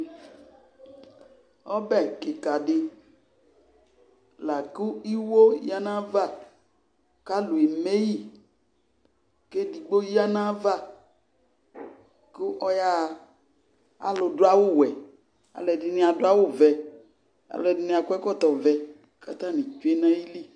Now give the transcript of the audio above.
Ɔbɛ kɩka dɩ la kʋ iwo yǝ nʋ ayava kʋ alʋ eme yɩ kʋ edigbo ya nʋ ayava kʋ ɔyaɣa Alʋdʋ awʋwɛ, alʋɛdɩnɩ adʋ awʋvɛ, alʋɛdɩnɩ akɔ ɛkɔtɔvɛ kʋ atanɩ tsue nʋ ayili